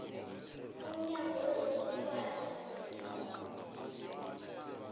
mnyango wezobukghwari nezamasiko